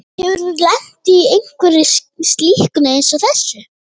Hefurðu lent í einhverju slíku eins og þessu?